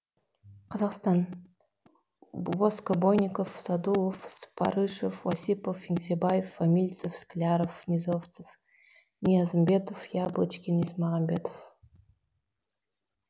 қазақстан воскобойников садуов спарышев осипов еңсебаев фамильцев скляров низовцев ниязымбетов яблочкин есмағамбетов